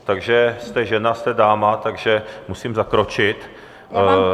Takže jste žena, jste dáma, takže musím zakročit.